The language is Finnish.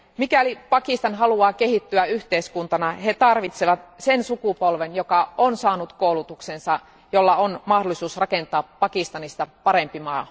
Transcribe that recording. Mikäli Pakistan haluaa kehittyä yhteiskuntana, he tarvitsevat sen sukupolven, joka on saanut koulutuksensa, jolla on mahdollisuus rakentaa Pakistanista parempi maa.